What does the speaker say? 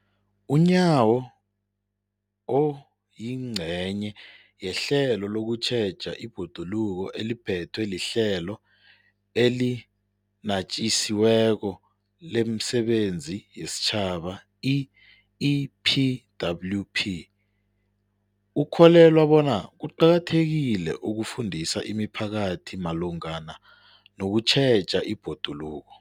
UNyawo, oyingcenye ye hlelo lokutjheja ibhoduluko eliphethwe liHlelo eliNatjisi weko lemiSebenzi yesiTjhaba, i-EPWP, ukholelwa bona kuqakathekile ukufundisa imiphakathi malungana nokutjheja ibhoduluko.